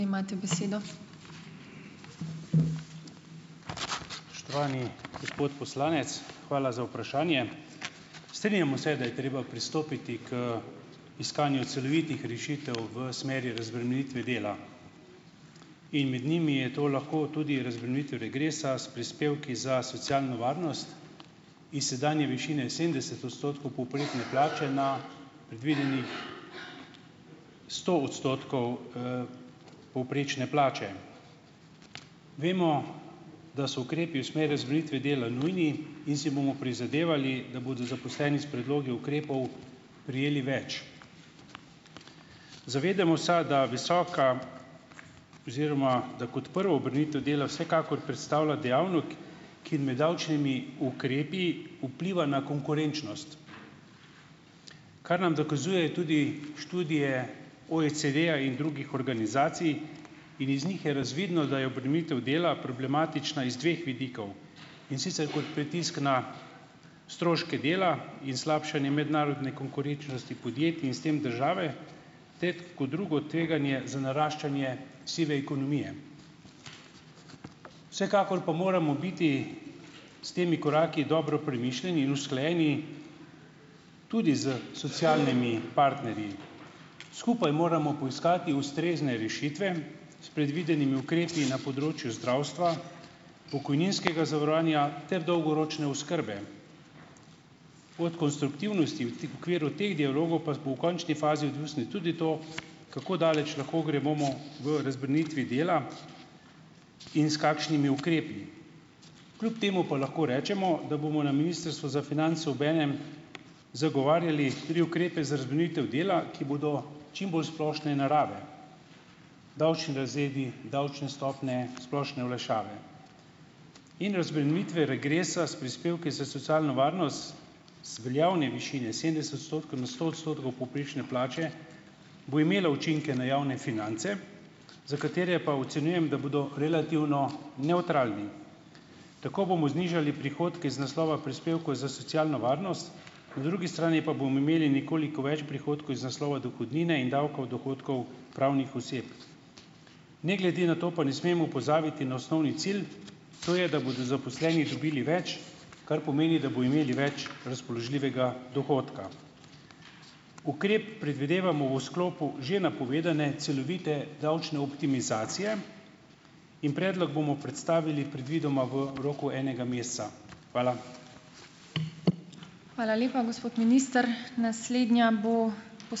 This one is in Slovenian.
Spoštovani gospod poslanec, hvala za vprašanje. Strinjamo se, da je treba pristopiti k iskanju celovitih rešitev v smeri razbremenitve dela. In med njimi je to lahko tudi razbremenitev regresa s prispevki za socialno varnost iz sedanje višine sedemdeset odstotkov povprečne plače na predvidenih sto odstotkov, povprečne plače. Vemo, da so ukrepi v smer razbremenitve dela nujni, in si bomo prizadevali, da bodo zaposleni s predlogi ukrepov prejeli več. Zavedamo sa, da visoka oziroma da kot prva obremenitev dela vsekakor predstavlja dejavnik, ki med davčnimi ukrepi vpliva na konkurenčnost, kar nam dokazujejo tudi študije OECD-ja in drugih organizacij in iz njih je razvidno, da je obremenitev dela problematična iz dveh vidikov, in sicer kot pritisk na stroške dela in slabšanje mednarodne konkurenčnosti podjetij in s tem države ter kot drugo tveganje za naraščanje sive ekonomije. vsekakor pa moramo biti s temi koraki dobro premišljeni in usklajeni tudi s socialnimi partnerji. Skupaj moramo poiskati ustrezne rešitve s predvidenimi ukrepi na področju zdravstva, pokojninskega zavarovanja ter dolgoročne oskrbe. Od konstruktivnosti v okviru teh dialogov pa bo v končni fazi odvisno tudi to, kako daleč lahko gremo v razbremenitvi dela in s kakšnimi ukrepi. Kljub temu pa lahko rečemo, da bomo na Ministrstvu za finance obenem zagovarjali tudi ukrepe za razbremenitev dela, ki bodo čim bolj splošne narave, davčni razredi, davčne stopnje, splošne olajšave. In razbremenitev regresa s prispevki za socialno varnost z veljavne višine sedemdeset odstotkov na sto odstotkov povprečne plače bo imela učinke na javne finance, za katere pa ocenjujem, da bodo relativno nevtralni. Tako bomo znižali prihodke iz naslova prispevkov za socialno varnost, po drugi strani pa bomo imeli nekoliko več prihodkov iz naslova dohodnine in davka od dohodkov pravnih oseb. Ne glede na to pa ne smemo pozabiti na osnovni cilj, to je, da bodo zaposleni dobili več, kar pomeni, da bojo imeli več razpoložljivega dohodka. Ukrep predvidevamo v sklopu že napovedane celovite davčne optimizacije in predlog bomo predstavili predvidoma v roku enega meseca. Hvala.